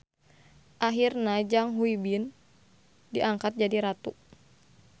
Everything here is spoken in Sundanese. Ahirna Jang Hui-bin diangkat jadi ratu.